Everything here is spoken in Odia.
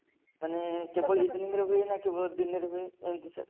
ମାନେ ହୁଏ ନା କେବେ ଗୋଟେ ଦିନରେ ହୁଏ ଏମିତି sir